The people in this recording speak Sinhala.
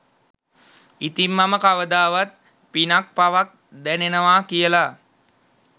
ඉතින් මම කවදාවත් පිනක් පවක් දැනෙනවා කියල